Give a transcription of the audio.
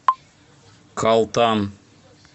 калтан